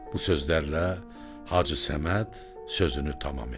Bu sözlərlə Hacı Səməd sözünü tamam etdi.